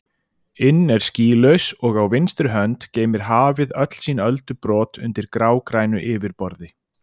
inn er skýlaus og á vinstri hönd geymir hafið öll sín öldubrot undir grágrænu yfirborði.